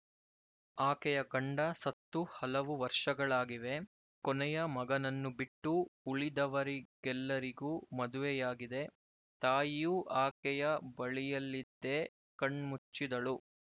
ಆಕೆಯ ಗಂಡ ಸತ್ತು ಹಲವು ವರ್ಷಗಳಾಗಿವೆ ಕೊನೆಯ ಮಗನನ್ನು ಬಿಟ್ಟು ಉಳಿದವರಿಗೆಲ್ಲರಿಗೂ ಮದುವೆಯಾಗಿದೆ ತಾಯಿಯೂ ಆಕೆಯ ಬಳಿಯಲ್ಲಿದ್ದೇ ಕಣ್ಮುಚ್ಚಿದಳು